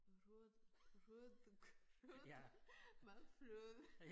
Rød rødgrød med fløde